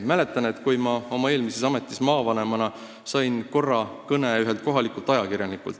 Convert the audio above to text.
Mäletan, kui sain oma eelmises ametis, maavanemana, korra kõne ühelt kohalikult ajakirjanikult.